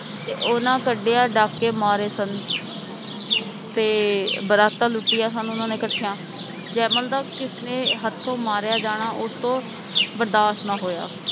ਤੇ ਉਹਨਾਂ ਕਠੇਆਂ ਡਾਕੇ ਮਾਰੇ ਸਨ ਤੇ ਬਰਾਤਾਂ ਲੁਟਿਆਂ ਸਨ ਉਹਨਾਂ ਨੇ ਕਠੀਆਂ ਜੈਮਲ ਦਾ ਕਿਸਨੇ ਹੱਥੋਂ ਮਾਰਿਆ ਜਾਣਾ ਉਸਤੋਂ ਬਰਦਾਸ਼ਤ ਨਾ ਹੋਇਆ